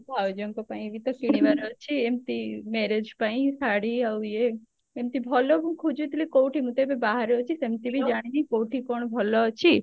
ଭାଉଜଙ୍କ ପାଇଁ ବି ତ କିଣିବାର ଅଛି ଏମତି marriage ପାଇଁ ଶାଢୀ ଆଉ ଇଏ ଏମତି ଭଲ ମୁଁ ଖୋଜୁଥିଲି କଉଠି ମୁଁ ତ ଏବେ ବାହାରେ ଅଛି ସେମତି ବି ଜାଣିନି କଉଠି କଣ ଭଲ ଅଛି